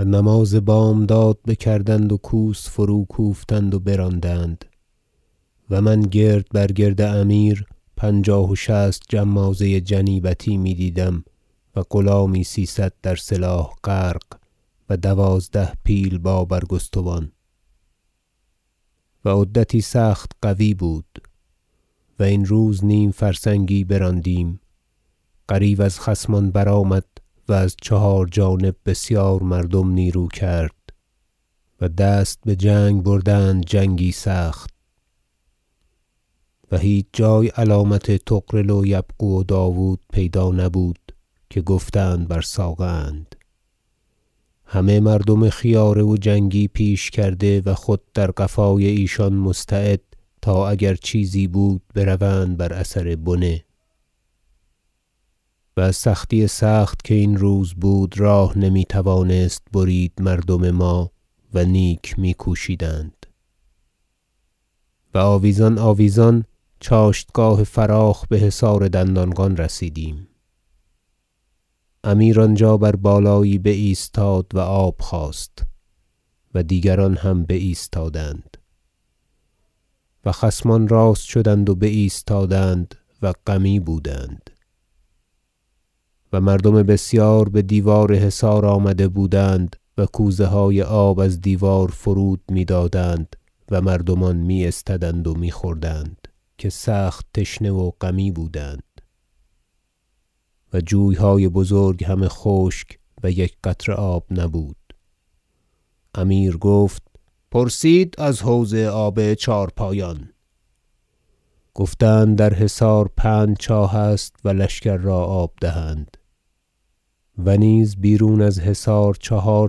و نماز بامداد بکردند و کوس فروکوفتند و براندند و من گرد بر گرد امیر پنجاه و شصت جمازه جنیبتی میدیدم و غلامی سیصد در سلاح غرق و دوازده پیل با برگستوان و عدتی سخت قوی بود و این روز نیم فرسنگی براندیم غریو از خصمان برآمد و از چهار جانب بسیار مردم نیرو کرد و دست بجنگ بردند جنگی سخت و هیچ جای علامت طغرل و یبغو و داود پیدا نبود که گفتند بر ساقه اند همه مردم خیاره و جنگی پیش کرده و خود در قفای ایشان مستعد تا اگر چیزی بود بروند بر اثر بنه و از سختی سخت که این روز بود راه نمی توانست برید مردم ما و نیک میکوشیدند و آویزان آویزان چاشتگاه فراخ بحصار دندانقان رسیدیم امیر آنجا بر بالایی بایستاد و آب خواست و دیگران هم بایستادند و خصمان راست شدند و بایستادند و غمی بودند و مردم بسیار بدیوار حصار آمده بودند و کوزه های آب از دیوار فرود- میدادند و مردمان می استدند و میخوردند که سخت تشنه و غمی بودند و جویهای بزرگ همه خشک و یک قطره آب نبود امیر گفت پرسید از حوض آب چهارپایان گفتند در حصار پنج چاه است و لشکر را آب دهند و نیز بیرون از حصار چهار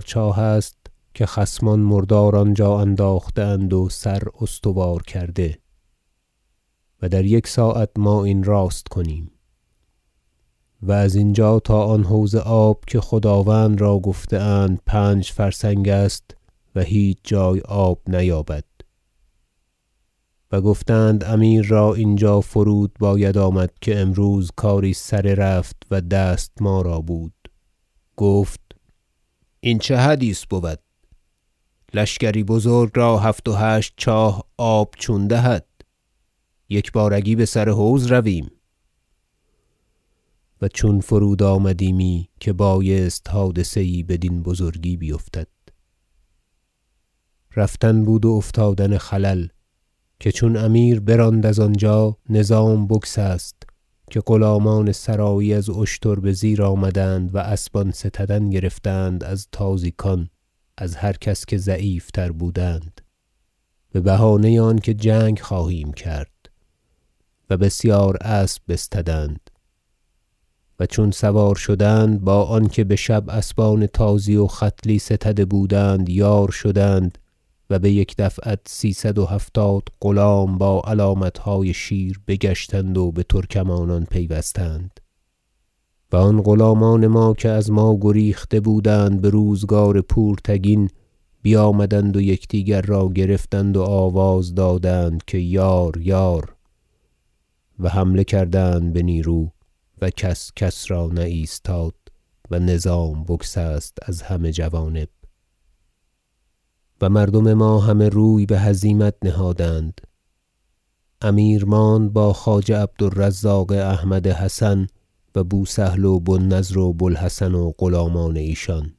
چاه است که خصمان مردار آنجا انداخته اند و سر استوار کرده و در یک ساعت ما این راست کنیم و از اینجا تا آن حوض آب که خداوند را گفته اند پنج فرسنگ است و هیچ جای آب نیابد جنگ دندانقان و گفتند امیر را اینجا فرود باید آمد که امروز کاری سره رفت و دست ما را بود گفت این چه حدیث بود لشکری بزرگ را هفت و هشت چاه آب چون دهد یکبارگی بسر حوض رویم و چون فرود آمدیمی که بایست حادثه یی بدین بزرگی بیفتد رفتن بود و افتادن خلل که چون امیر براند از آنجا نظام بگسست که غلامان سرایی از اشتر بزیر آمدند و اسبان ستدن گرفتند از تازیکان از هر کس که ضعیف تر بودند ببهانه آنکه جنگ خواهیم کرد و بسیار اسب بستدند و چون سوار شدند با آنکه بشب اسبان تازی و ختلی ستده بودند یار شدند و بیک دفعت سیصد و هفتاد غلام با علامتهای شیر بگشتند و بترکمانان پیوستند و آن غلامان که از ما گریخته بودند بروزگار پورتگین بیامدند و یکدیگر را گرفتند و آواز دادند که یار یار و حمله کردند بنیرو و کس کس را نه ایستاد و نظام بگسست از همه جوانب و مردم ما همه روی بهزیمت نهادند امیر ماند با خواجه عبد الرزاق احمد حسن و بو سهل و بو النضر و بو الحسن و غلامان ایشان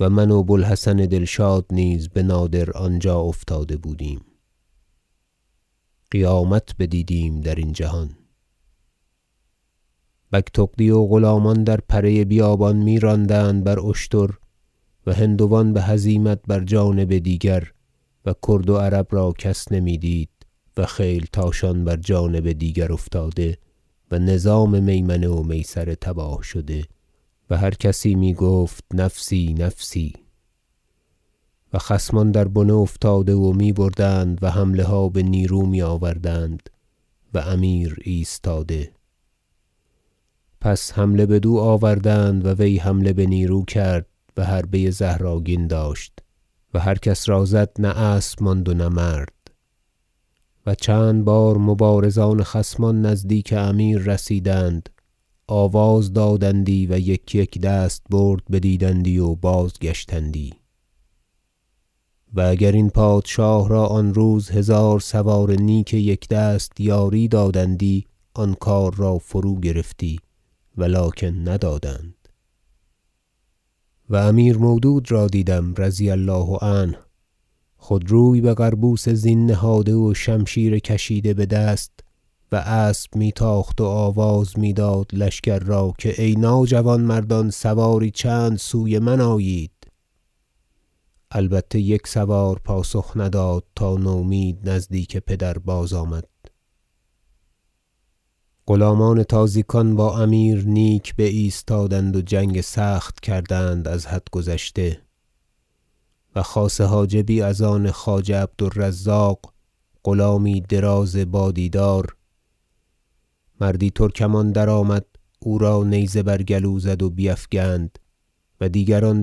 و من و بو الحسن دلشاد نیز بنادر آنجا افتاده بودیم قیامت بدیدیم درین جهان بگتغدی و غلامان در پره بیابان میراندند بر اشتر و هندوان بهزیمت بر جانب دیگر و کرد و عرب را کس نمیدید و خیلتاشان بر جانب دیگر افتاده و نظام میمنه و میسره تباه شده و هر کسی میگفت نفسی نفسی و خصمان در بنه افتاده و میبردند و حمله ها بنیرو میآوردند و امیر ایستاده پس حمله بدو آوردند و وی حمله بنیرو کرد و حربه زهرآگین داشت و هر کس را زد نه اسب ماند و نه مرد و چند بار مبارزان خصمان نزدیک امیر رسیدند و آواز دادندی و یک یک دستبرد بدیدندی و بازگشتندی و اگر این پادشاه را آن روز هزار سوار نیک یکدست یاری دادندی آن کار را فروگرفتی و لکن ندادند و امیر مودود را دیدم رضی الله عنه خود روی بقربوس زین نهاده و شمشیر کشیده بدست و اسب می تاخت و آواز میداد لشکر را که ای ناجوانمردان سواری چند سوی من آیید البته یک سوار پاسخ نداد تا نومید نزدیک پدر بازآمد غلامان تازیکان با امیر نیک بایستادند و جنگ سخت کردند از حد گذشته و خاصه حاجبی از آن خواجه عبد الرزاق غلامی دراز با دیدار مردی ترکمان در- آمد او را نیزه بر گلو زد و بیفگند و دیگران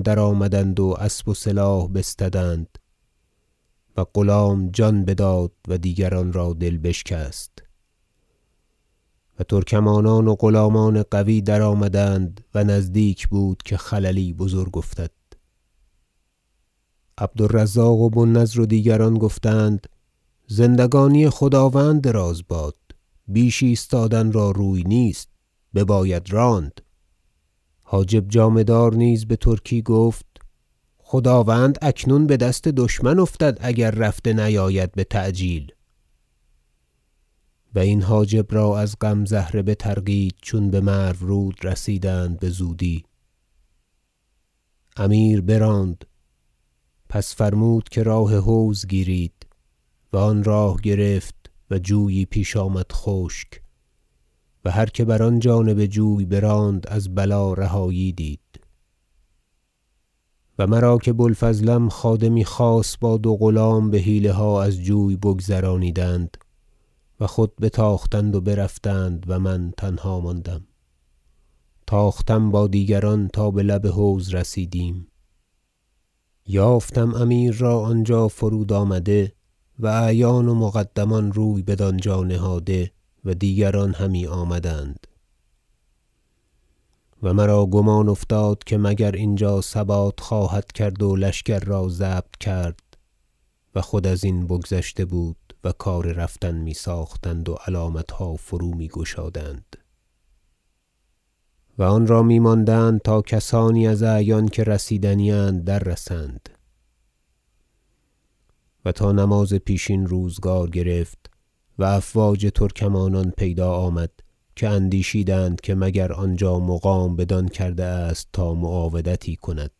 درآمدند و اسب و سلاح بستدند و غلام جان بداد و دیگران را دل بشکست و ترکمانان و غلامان قوی درآمدند و نزدیک بود که خللی بزرگ افتد عبد الرزاق و بو النضر و دیگران گفتند زندگانی خداوند دراز باد بیش ایستادن را روی نیست بباید راند حاجب جامه دار نیز بترکی گفت خداوند اکنون بدست دشمن افتد اگر رفته نیاید بتعجیل- و این حاجب را از غم زهره بطرقید چون بمرو رود رسیدند بزودی- امیر براند پس فرمود که راه حوض گیرید و آن راه گرفت و جویی پیش آمد خشک و هر که بر آن جانب جوی براند از بلا رهایی دید و مرا که بو الفضلم خادمی خاص با دو غلام بحیله ها از جوی بگذرانیدند و خود بتاختند و برفتند و من تنها ماندم تاختم با دیگران تا بلب حوض رسیدیم یافتم امیر را آنجا فرود آمده و اعیان و مقدمان روی بدانجا نهاده و دیگران همی آمدند و مرا گمان افتاد که مگر اینجا ثبات خواهد کرد و لشکر را ضبط کرد و خود ازین بگذشته بود و کار رفتن میساختند و علامتها فرومیگشادند و آنرا میماندند تا کسانی از اعیان که رسیدنی است در رسند و تا نماز پیشین روزگار گرفت و افواج ترکمانان پیدا آمد که اندیشیدند که مگر آنجا مقام بدان کرده است تا معاودتی کند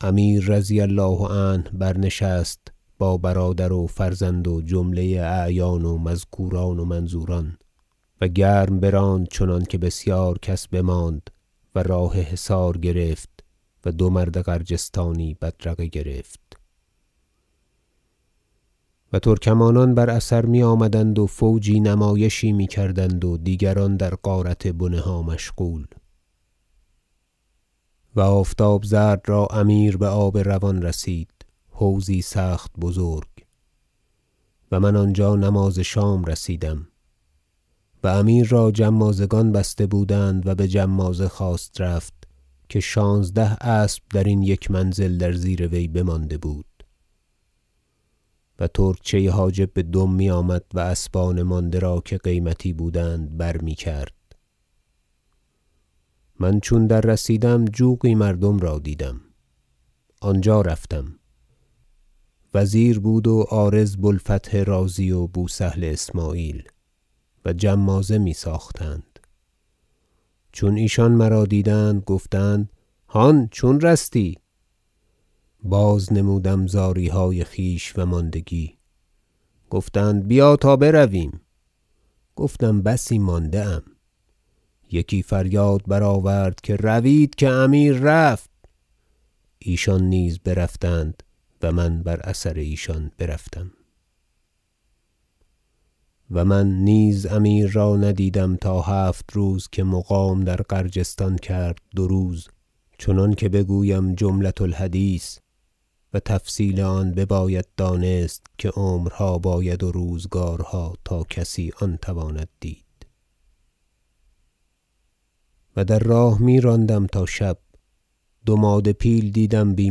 امیر رضی الله عنه برنشست با برادر و فرزند و جمله اعیان و مذکوران و منظوران و گرم براند چنانکه بسیار کس بماند و راه حصار گرفت و دو مرد غرجستانی بدرقه گرفت و ترکمانان بر اثر میآمدند و فوجی نمایشی میکردند و دیگران در غارت بنه ها مشغول گفتند بیا تا برویم گفتم بسی مانده ام یکی فریاد برآورد که روید که امیر رفت ایشان نیز برفتند و من بر اثر ایشان برفتم و من نیز امیر را ندیدم تا هفت روز که مقام در غرجستان کرد دو روز چنانکه بگویم جملة الحدیث و تفصیل آن بباید دانست که عمرها باید و روزگارها تا کسی آن تواند دید و در راه میراندم تا شب دو ماده پیل دیدم بی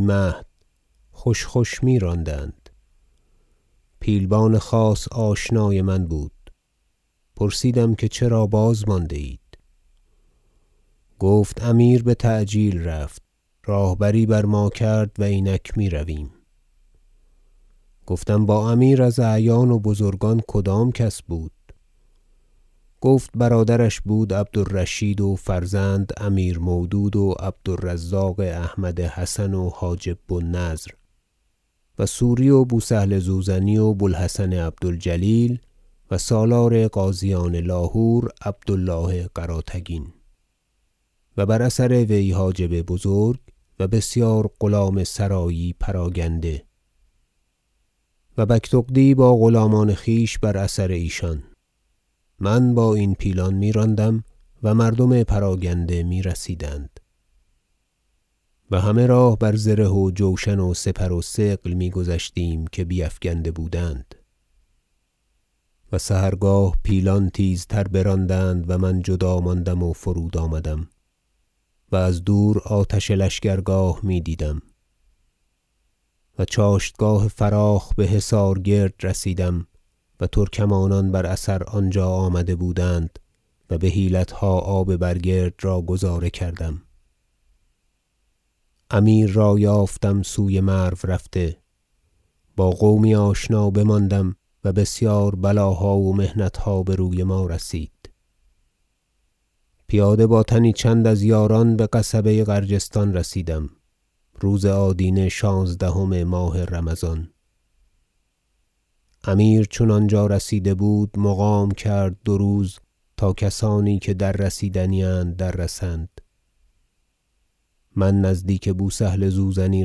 مهد خوش خوش میراندند پیلبان خاص آشنای من بود پرسیدم که چرا بازمانده اید گفت امیر بتعجیل رفت راهبری بر ما کرد و اینک میرویم گفتم با امیر از اعیان و بزرگان کدام کس بود گفت برادرش بود عبد الرشید و فرزند امیر مودود و عبد الرزاق احمد حسن و حاجب بو النضر و سوری و بو سهل زوزنی و بو الحسن عبد الجلیل و سالار غازیان لاهور عبد الله قراتگین و بر اثر وی حاجب بزرگ و بسیار غلام سرایی پراگنده و بگتغدی با غلامان خویش بر اثر ایشان من با این پیلان میراندم و مردم پراگنده میرسیدند و همه راه بر زره و جوشن و سپر و ثقل میگذشتیم که بیفگنده بودند و سحرگاه پیلان تیزتر براندند و من جدا ماندم و فرود آمدم و از دور آتش لشکرگاه دیدم و چاشتگاه فراخ بحصار کرد رسیدم و ترکمانان بر اثر آنجا آمده بودند و بحیلتها آب بر کرد را گذارده کردم امیر را یافتم سوی مرو رفته با قومی آشنا بماندم و بسیار بلاها و محنتها بروی ما رسید پیاده با تنی چند از یاران بقصبه غرجستان رسیدم روز آدینه شانزدهم ماه رمضان امیر چون آنجا رسیده بود مقام کرد دو روز تا کسانی که در رسیدنی اند دررسند من نزدیک بو سهل زوزنی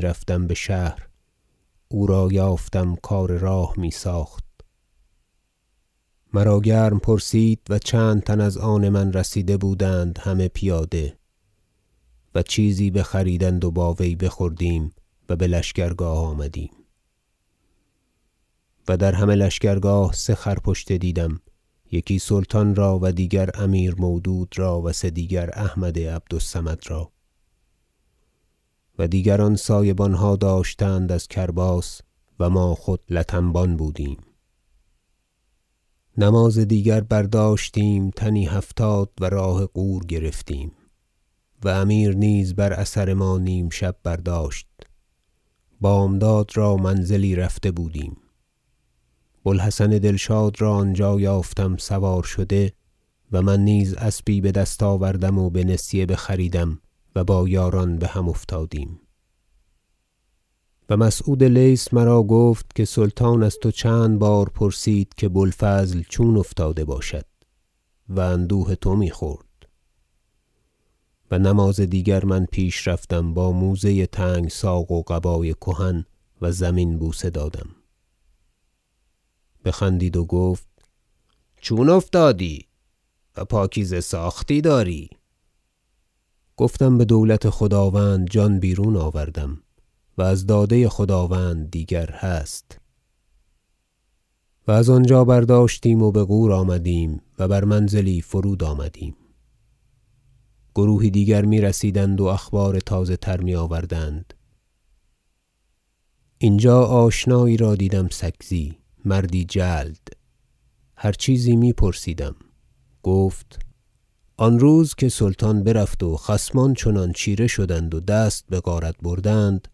رفتم بشهر او را یافتم کار راه میساخت مرا گرم پرسید و چند تن از آن من رسیده بودند همه پیاده و چیزی بخریدند و با وی بخوردیم و بلشکرگاه آمدیم و در همه لشکرگاه سه خر- پشته دیدم یکی سلطان را و دیگر امیر مودود را و سه دیگر احمد عبد الصمد را و دیگران سایه بانها داشتند از کرباس و ما خودلت انبان بودیم نماز دیگر برداشتیم تنی هفتاد و راه غور گرفتیم و امیر نیز بر اثر ما نیم شب برداشت بامداد را منزلی رفته بودیم بو الحسن دلشاد را آنجا یافتم سوار شده و من نیز اسبی بدست آوردم و به نسیه بخریدم و با یاران بهم افتادیم و مسعود لیث مرا گفت که سلطان از تو چند بار پرسید که بو الفضل چون افتاده باشد و اندوه تو میخورد و نماز دیگر من پیش رفتم با موزه تنگ ساق و قبای کهن و زمین بوسه دادم بخندید و گفت چون افتادی و پاکیزه ساختی داری گفتم بدولت خداوند جان بیرون آوردم و از داده خداوند دیگر هست و از آنجا برداشتیم و بغور آمدیم و بر منزلی فرود آمدیم گروهی دیگر میرسیدند و اخبار تازه تر میآوردند اینجا آشنایی را دیدم سکزی مردی جلد هر چیزی می پرسیدم گفت آن روز که سلطان برفت و خصمان چنان چیره شدند و دست بغارت بردند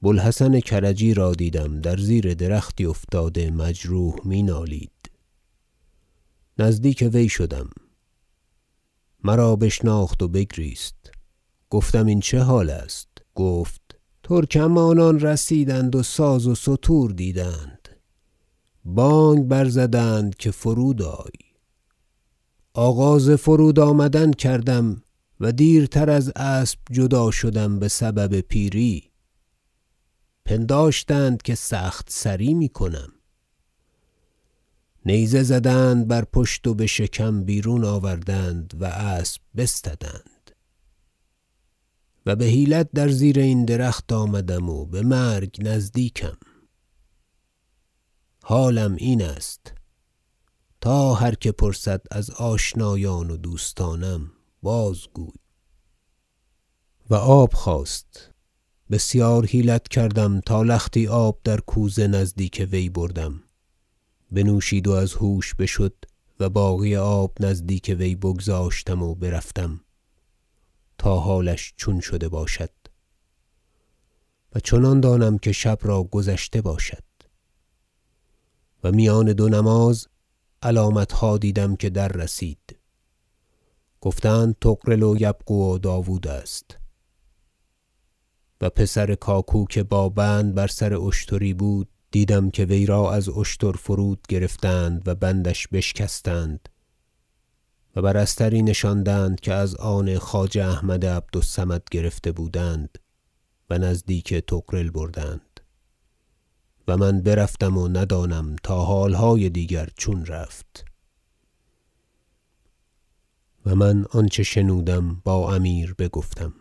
بو الحسن کرجی را دیدم در زیر درختی افتاده مجروح می- نالید نزدیک وی شدم مرا بشناخت و بگریست گفتم این چه حال است گفت ترکمانان رسیدند و ساز و ستور دیدند بانگ برزدند که فرودآی آغاز فرود آمدن کردم و دیرتر از اسب جدا شدم بسبب پیری پنداشتند که سخت سری میکنم نیزه زدند بر پشت و بشکم بیرون آوردند و اسب بستدند و بحیلت در زیر این درخت آمدم و بمرگ نزدیکم حالم این است تا هر که پرسد از آشنایان و دوستانم بازگوی و آب خواست بسیار حیلت کردم تا لختی آب در کوزه نزدیک وی بردم بنوشید و از هوش بشد و باقی آب نزدیک وی بگذاشتم و برفتم تا حالش چون شده باشد و چنان دانم که شب را گذشته باشد و میان دو نماز علامتها دیدم که در رسید گفتند طغرل و یبغو و داود است و پسر کاکو که با بند بر سر اشتری بود دیدم که وی را از اشتر فرود گرفتند و بندش بشکستند و بر استری نشاندند که از آن خواجه احمد عبد الصمد گرفته بودند و نزدیک طغرل بردند و من برفتم و ندانم تا حالهای دیگر چون رفت و من آنچه شنودم با امیر بگفتم و آفتاب زرد را امیر بآب روان رسید حوضی سخت بزرگ و من آنجا نماز شام رسیدم و امیر را جمازگان بسته بودند و بجمازه خواست رفت که شانزده اسب درین یک منزل در زیروی بمانده بود و ترکچه حاجب بدم میآمد و اسبان مانده را که قیمتی بودند بر میکرد من چون در رسیدم جوقی مردم را دیدم آنجا رفتم وزیر بود و عارض بو الفتح رازی و بو سهل اسمعیل و جمازه میساختند چون ایشان مرا دیدند گفتند هان چون رستی باز نمودم زاریهای خویش و ماندگی